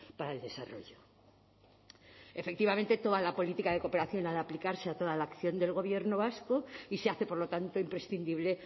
para el desarrollo efectivamente toda la política de cooperación ha de aplicarse a toda la acción del gobierno vasco y se hace por lo tanto imprescindible